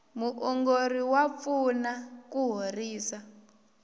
muongori wa pfuna ku horisa